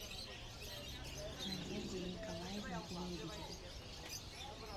надежде николаевне лебедевой